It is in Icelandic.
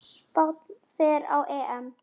Spánn fer á EM.